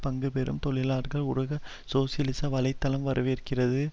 பங்கு பெறும் தொழிலாளர்களை உலக சோசியலிச வலை தளம் வரவேற்கிறது